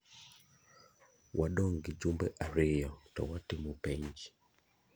Wadong' gi jumbe ariyo to watimo penj.